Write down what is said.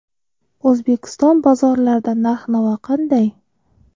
O‘zbekiston bozorlarida narx-navo qanday?.